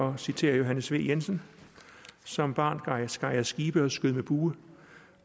at citere johannes v jensen som barn skar jeg skibe og skød med bue